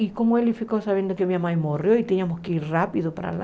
E como ele ficou sabendo que minha mãe morreu e tínhamos que ir rápido para lá,